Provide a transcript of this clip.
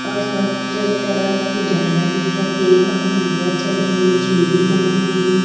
और सब च तरफ उजाला दिखत है और नरियल चढ़े है चुंदरी बंधी है।